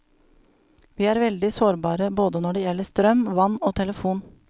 Vi er veldig sårbare både når det gjelder strøm, vann og telefon.